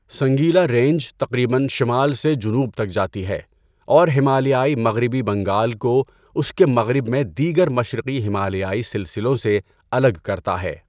Singalila range تقریباََ شمال سے جنوب تک جاتی ہے اور ہمالیائی مغربی بنگال کو اس کے مغرب میں دیگر مشرقی ہمالیائی سلسلوں سے الگ کرتا ہے۔